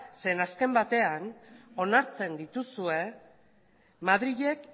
zeren azken batean onartzen dituzuen madrilek